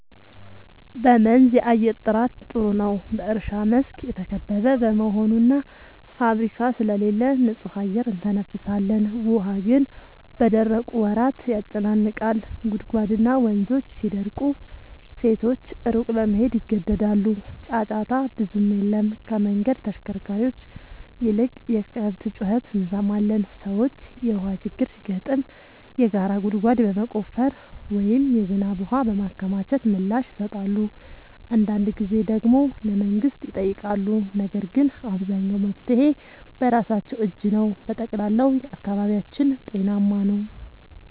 በመንዝ የአየር ጥራት ጥሩ ነው፤ በእርሻ መስክ የተከበበ በመሆኑ እና ፋብሪካ ስለሌለ ንጹህ አየር እንተነፍሳለን። ውሃ ግን በደረቁ ወራት ያጨናንቃል፤ ጉድጓድና ወንዞች ሲደርቁ ሴቶች ሩቅ ለመሄድ ይገደዳሉ። ጫጫታ ብዙም የለም፤ ከመንገድ ተሽከርካሪዎች ይልቅ የከብት ጩኸት እንሰማለን። ሰዎች የውሃ ችግር ሲገጥም የጋራ ጉድጓድ በመቆፈር ወይም የዝናብ ውሃ በማከማቸት ምላሽ ይሰጣሉ። አንዳንድ ጊዜ ደግሞ ለመንግሥት ይጠይቃሉ፤ ነገር ግን አብዛኛው መፍትሔ በራሳቸው እጅ ነው። በጠቅላላው አካባቢያችን ጤናማ ነው።